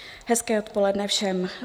Hezké odpoledne všem.